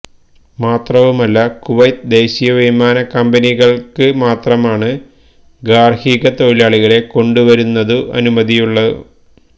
മാത്രവുമല്ല കുവൈത്ത് ദേശീയ വിമാന കമ്പനികള്ക്ക് മാത്രമാണു ഗാര്ഹിക തൊഴിലാളികളെ കൊണ്ടു വരുന്നതിനു അനുമതിയുമുള്ളൂ